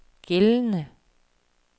gældende